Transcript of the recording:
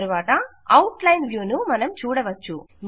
తరువాత outline వ్యూను మనం చూడవచ్చు